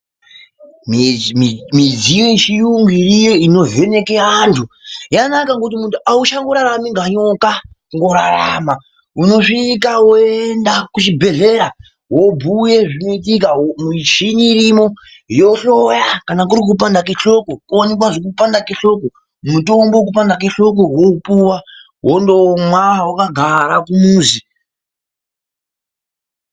Midziyo yechirungu yovheneka andu yakanaka, ngekuti muntu auchangorarami kunge nyoka mukurarama unosvika woenda muchibhedhlera wobhuya zvinoitika mumuchini irimo yohloya kana kuti kupanda kwehloko yoona kana kuti kupanda kwehloko mitombo yekupanda kwehloko wopuwa wondomwa wakagara kumuzi .